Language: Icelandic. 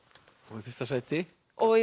og í fyrsta sæti